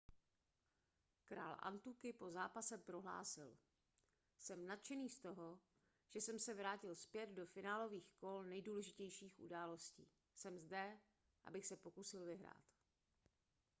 král antuky po zápase prohlásil jsem nadšený z toho že jsem se vrátil zpět do finálových kol nejdůležitějších událostí jsem zde abych se pokusil vyhrát